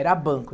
Era banco.